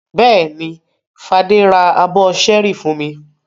Bẹ́ẹ̀ni, Fadé ra abọ́ ṣẹ́ẹ́rì fún mi.